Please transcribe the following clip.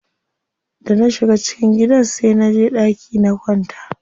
Da na shiga cikin gidan sai naje ɗaki na kwanta.